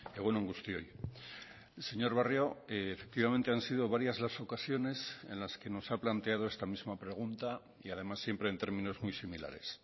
egun on guztioi señor barrio efectivamente han sido varias las ocasiones en las que nos ha planteado esta misma pregunta y además siempre en términos muy similares